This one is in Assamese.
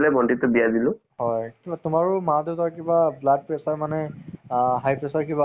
suspense হʼব লাগে মানে এহ মানে তোমাৰ আহ এটা য়া এটা scene পাৰ হৈ গল next